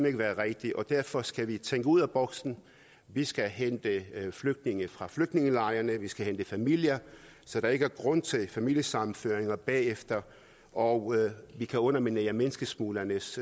ikke være rigtigt og derfor skal vi tænke ud af boksen vi skal hente flygtninge fra flygtningelejrene vi skal hente familier så der ikke er grund til familiesammenføringer bagefter og vi kan underminere menneskesmuglernes